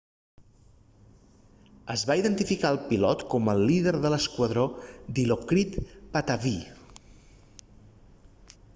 es va identificar el pilot com el líder de l'esquadró dilokrit pattavee